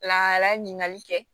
La ɲininkali kɛ